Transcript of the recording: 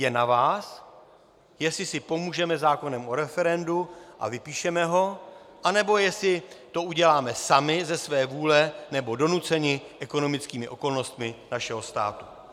Je na vás, jestli si pomůžeme zákonem o referendu a vypíšeme ho, anebo jestli to uděláme sami ze své vůle nebo donuceni ekonomickými okolnostmi našeho státu.